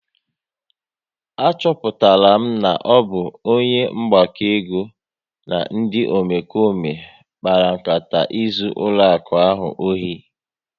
A chọpụtara na ọ bụ onye mgbakọego na ndị Omekome kpara nkata izu ụlọaku ahụ ohi